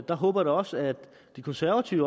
der håber jeg også at de konservative